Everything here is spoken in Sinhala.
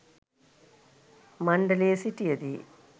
මණ්ඩලයේ සිටිය දී